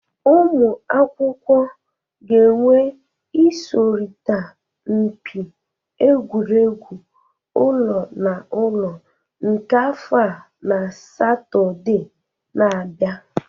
Ụmụ akwụkwọ ga-enwe ịsọrịta mpị egwụregwụ ụlọ na ụlọ nke afọ a na Satọde na-abịa